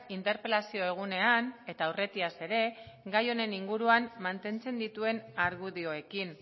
interpelazio egunean eta aurretiaz ere gai honen inguruan mantentzen dituen argudioekin